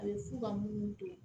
A bɛ fu ka mun don